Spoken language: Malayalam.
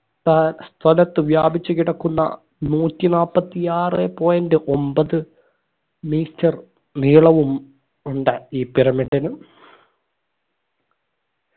ഏർ സ്ഥലത്തു വ്യാപിച്ചു കിടക്കുന്ന നൂറ്റി നാപ്പത്തി ആറ് point ഒമ്പത് metre നീളവും ഉണ്ട് ഈ pyramid ന്